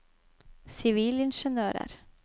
sivilingeniører